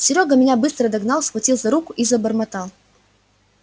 серёга меня быстро догнал схватил за руку и забормотал